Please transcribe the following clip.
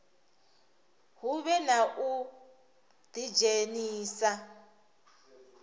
hu vhe na u ḓidzhenisa